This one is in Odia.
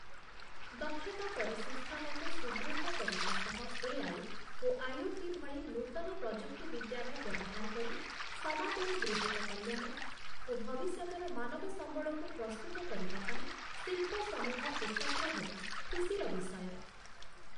ଦକ୍ଷତା ପରିସଂସ୍ଥାନକୁ ସୁଦୃଢ଼ କରିବା ସହ ଏ.ଆଇ. ଓ ଆଇ.ଓ.ଟି. ଭଳି ନୂତନ ପ୍ରଯୁକ୍ତିବିଦ୍ୟାର ବ୍ୟବହାର କରି, ସମାଜର ବୃହତ କଲ୍ୟାଣ ଓ ଭବିଷ୍ୟତର ମାନବ ସମ୍ବଳକୁ ପ୍ରସ୍ତୁତ କରିବା ପାଇଁ ଶିଳ୍ପ ସମୂହ ଏକତ୍ର ହେବା ଖୁସିର ବିଷୟ ।